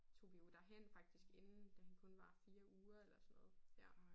Tog vi jo derhen faktisk inden da han kun var 4 uger eller sådan noget ja